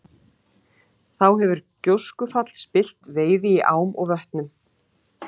Þá hefur gjóskufall spillt veiði í ám og vötnum.